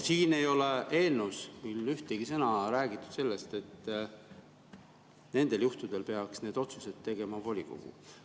Siin eelnõus ei ole ühtegi sõna räägitud sellest, et nendel juhtudel peaks otsused tegema volikogu.